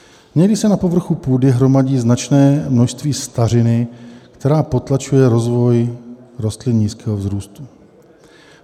Někdy se na povrchu půdy hromadí značné množství stařiny, která potlačuje rozvoj rostlin nízkého vzrůstu.